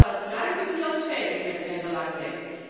Zowel privacy als veiligheid zijn belangrijk.